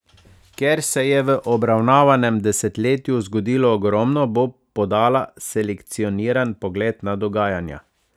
Ker se je v obravnavanem desetletju zgodilo ogromno, bo podala selekcioniran pogled na dogajanja.